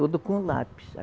Tudo com lápis.